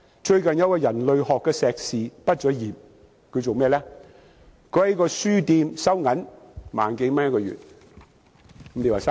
最近有一位人類學碩士畢業生，他從事甚麼工作？